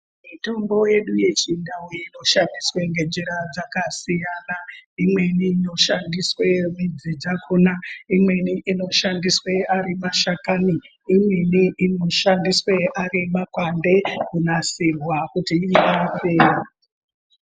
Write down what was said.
Mitombo yedu yechindau inoshandiswe ngenjira dzakasiyana imweni inoshandiswe midzi dzakhona, imweni inoshandiswe ari mashakani imweni inoshandiswe ari makwande kunasirwa kuti irape.